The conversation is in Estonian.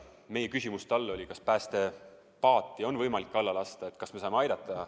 Meie küsimus talle oli, kas päästepaati on võimalik alla lasta, et kas me saame aidata.